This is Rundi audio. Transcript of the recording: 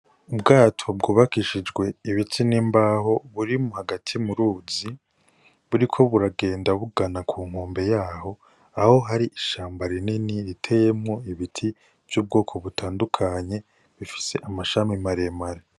Ubwato bwubakishijwe ibiti n'imbaho burimo hagati mu ruzi buri ko buragenda bugana ku nkombe yaho aho hari ishamba rinini riteyemwo ibiti vy'ubwoko butandukanye bifise amashami maremare.